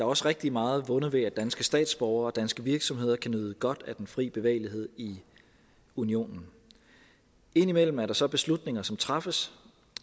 også rigtig meget vundet ved at danske statsborgere og danske virksomheder kan nyde godt af den fri bevægelighed i unionen indimellem er der så beslutninger som træffes